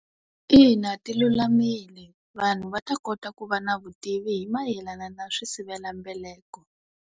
Ina ti lulamile. Vanhu va ta kota ku va na vutivi hi mayelana na swisivelambeleko.